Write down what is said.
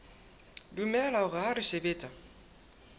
dumela hore ha re sebetsa